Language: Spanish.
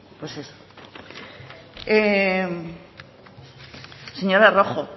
pues eso señora rojo